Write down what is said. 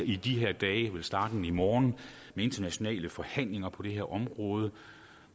i de her dage vel startende i morgen med internationale forhandlinger på det her område